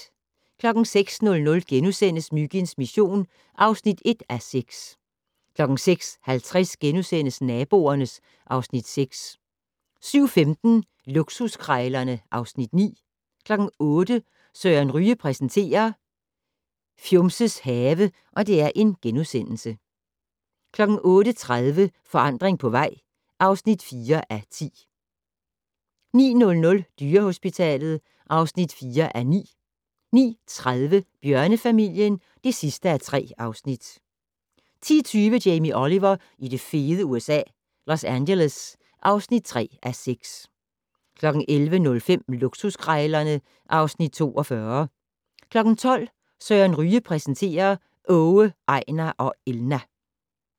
06:00: Myginds mission (1:6)* 06:50: Naboerne (Afs. 6)* 07:15: Luksuskrejlerne (Afs. 9) 08:00: Søren Ryge præsenterer: Fjumses have * 08:30: Forandring på vej (4:10) 09:00: Dyrehospitalet (4:9) 09:30: Bjørnefamilien (3:3) 10:20: Jamie Oliver i det fede USA - Los Angeles (3:6) 11:05: Luksuskrejlerne (Afs. 42) 12:00: Søren Ryge præsenterer: Åge, Ejnar og Elna.